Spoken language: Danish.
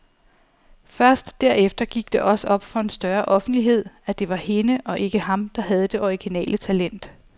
Først derefter gik det også op for en større offentlighed, at det var hende og ikke ham, der havde det originale talent.